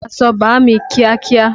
Fọ aṣọ bàámi kíákíá!